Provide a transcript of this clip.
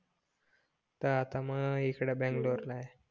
तर मग आता इकडे बंगलोर ला आहे